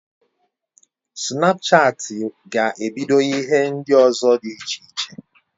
Snapchatị ga ebido ihe ndi ozo di iche iche